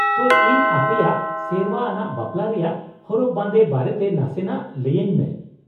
-ᱛᱚ, ᱤᱧ ᱟᱯᱮᱭᱟᱜ ᱥᱮᱨᱶᱟ ᱟᱱᱟᱜ ᱵᱟᱯᱞᱟ ᱨᱮᱭᱟᱜ ᱦᱚᱨᱚᱜ ᱵᱟᱸᱫᱮ ᱵᱟᱨᱮᱛᱮ ᱱᱟᱥᱮᱱᱟᱜ ᱞᱟᱹᱭᱟᱹᱧ ᱢᱮ ᱾